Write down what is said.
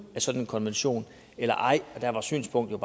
af sådan en konvention eller ej og der var synspunktet